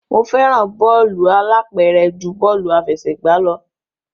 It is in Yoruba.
Mo fẹ́ràn bọ́ọ̀lù alápẹ̀rẹ̀ ju bọ́ọ̀lù àfẹsẹ̀gbá lọ.